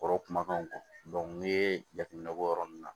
Kɔrɔ kumakanw kɔ n'i ye jateminɛ kɛ o yɔrɔ ninnu na